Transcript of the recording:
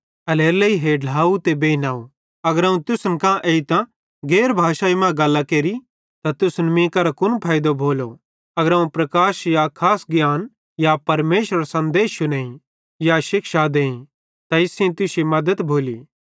एल्हेरेलेइ हे ढ्लाव ते बेइनव अगर अवं तुसन कां एइतां गैर भाषाई मां गल्लां केरि त तुसन मीं करां कुन फैइदो भोलो पन अगर अवं प्रकाश या खास ज्ञान या परमेशरेरो सन्देश शुनेईं या शिक्षा देईं त इस सेइं तुश्शी मद्दत भोली